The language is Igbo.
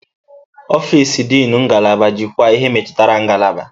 Ọfịs Dịnụ ngalaba jikwaa ihe metụtara ngalaba.